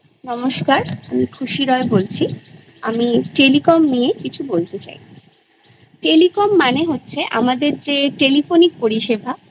নমস্কার আমি খুশি রয় বলছি আমি শিক্ষা এবং শিক্ষা ব্যবস্থা সম্পর্কে কিছু বলতে চাই শিক্ষা মূলত দু প্রকারের হয়